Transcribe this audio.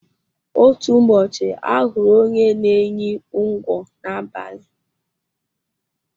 Otú ụbọchị ahụrụ onye n'enyi ńgwọ n'abali